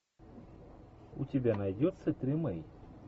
у тебя найдется тримей